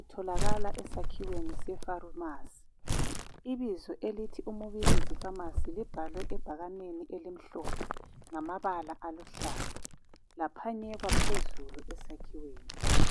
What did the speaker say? itholakala esakhiweni se Farumasi. Ibizo elithi uMubilizi Pharmacy libhalwe ebhakaneni elimhlophe, ngamabala aluhlaza, laphanyekwa phezulu esakhiweni.